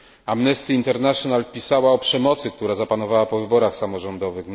Amnesty International pisała o przemocy, która zapanowała po wyborach samorządowych.